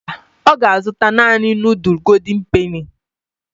Mba, ọ ga-azụta naani nudul goldin peni.